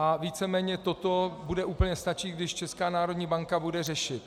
A víceméně toto bude úplně stačit, když Česká národní banka bude řešit.